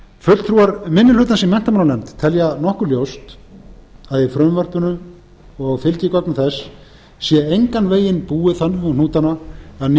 fulltrúar minni hlutans í menntamálanefnd telja nokkuð ljóst að í frumvarpinu og fylgigögnum þess sé engan veginn búið þannig um hnútana að